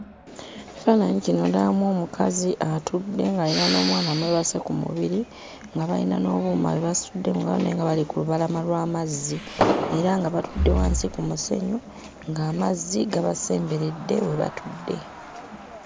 Ekifaananyi kino ndabamu omukazi atudde ng'ayina n'omwana amwebase ku mubiri nga bayina n'obuuma bwe basitudde mu ngalo naye nga bali ku lubalama lw'amazzi era nga batudde wansi ku musenyu ng'amazzi gabasemberedde we batudde.